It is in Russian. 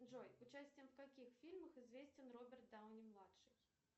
джой участием в каких фильмах известен роберт дауни младший